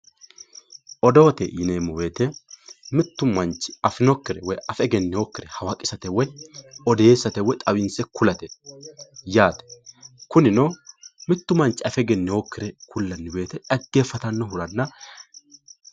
odoote yineemmo woyiite mittu manchi afinokkiricho woy afe egenninokkire hawaqisate odeessate woy xawinse kulate yaate kunino mittu manchi afe egenninokkire kullanno woyiite dhaggeeffatannohiranna